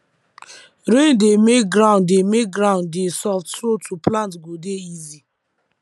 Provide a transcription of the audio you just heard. rain dey make ground dey make ground dey soft so to plant go dey easy